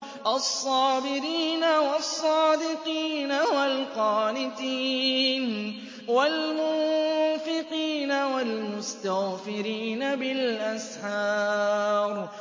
الصَّابِرِينَ وَالصَّادِقِينَ وَالْقَانِتِينَ وَالْمُنفِقِينَ وَالْمُسْتَغْفِرِينَ بِالْأَسْحَارِ